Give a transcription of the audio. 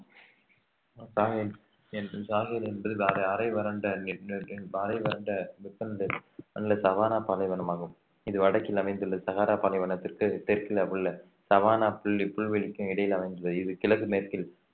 ஷாஹில் என்று ஷாஹில் என்று அரை வறண்ட சவானா பாலைவனமாகும் இது வடக்கில் அமைந்துள்ள பாலைவனத்திற்கு தெற்கில் உள்ள சவானா புள்ளி புல்வெளிக்கும் இடையில் அமைந்துள்ளது இது கிழக்கு மேற்கில்